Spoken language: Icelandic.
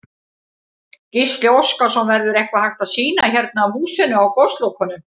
Gísli Óskarsson: Verður eitthvað hægt að sýna hérna af húsinu á Goslokunum?